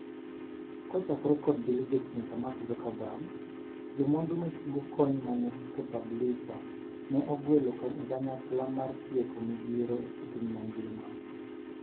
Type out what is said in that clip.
Kochakore kod Bill Gates nyaka Mark Zuckerberg, jomwandu machiwo kony mane Propublica ne ogwelo ekanyakla mar tieko midhiero epiny mangima.